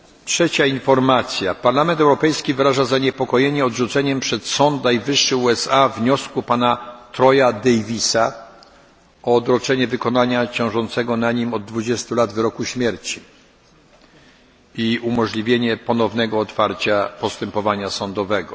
Trzecia informacja Parlament Europejski wyraża zaniepokojenie odrzuceniem przez sąd najwyższy USA wniosku pana Troya Davisa o odroczenie wykonania ciążącego na nim od 20 lat wyroku śmierci i umożliwienie ponownego otwarcia postępowania sądowego.